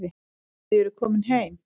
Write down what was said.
Þau voru komin heim.